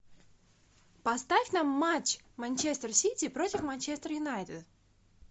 поставь нам матч манчестер сити против манчестер юнайтед